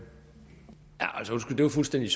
måske